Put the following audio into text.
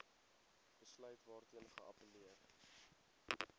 besluit waarteen geappelleer